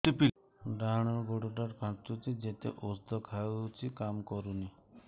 ଡାହାଣ ଗୁଡ଼ ଟା ଖାନ୍ଚୁଚି ଯେତେ ଉଷ୍ଧ ଖାଉଛି କାମ କରୁନି